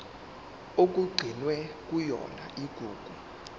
okugcinwe kuyona igugu